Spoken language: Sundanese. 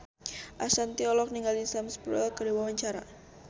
Ashanti olohok ningali Sam Spruell keur diwawancara